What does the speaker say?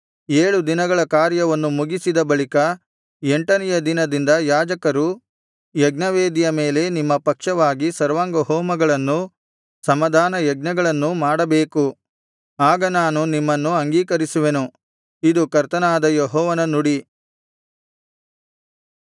ಏಳು ದಿನಗಳ ಕಾರ್ಯವನ್ನು ಮುಗಿಸಿದ ಬಳಿಕ ಎಂಟನೆಯ ದಿನದಿಂದ ಯಾಜಕರು ಯಜ್ಞವೇದಿಯ ಮೇಲೆ ನಿಮ್ಮ ಪಕ್ಷವಾಗಿ ಸರ್ವಾಂಗಹೋಮಗಳನ್ನೂ ಸಮಾಧಾನಯಜ್ಞಗಳನ್ನೂ ಮಾಡಬೇಕು ಆಗ ನಾನು ನಿಮ್ಮನ್ನು ಅಂಗೀಕರಿಸುವೆನು ಇದು ಕರ್ತನಾದ ಯೆಹೋವನ ನುಡಿ